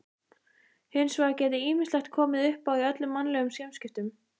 Hins vegar geti ýmislegt komið uppá í öllum mannlegum samskiptum.